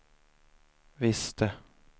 visste